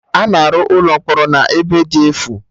A na-arụ ụlọ mkpọrọ na ebe dị efu